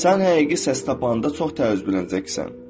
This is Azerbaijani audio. Sən həqiqi səs tapanda çox təəccüblənəcəksən.